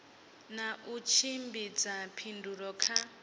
na u tshimbidza phindulo kha